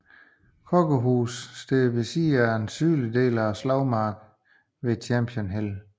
Coker House står ved siden af en sydlig del af slagmarken ved Champion Hill